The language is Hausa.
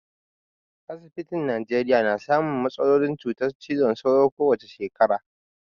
Asibitin Nijeriya na samun matsalolin cutar cizon sauro ko wace shekara.